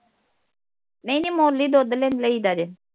ਨਹੀ ਨਹੀ ਮੁੱਲ ਹੀ ਦੁੱਧ ਲੈ ਲਈ ਦਾ ਜੇ